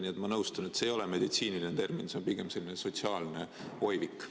Nii et ma nõustun: see ei ole meditsiiniline termin, see on pigem selline sotsiaalne oivik.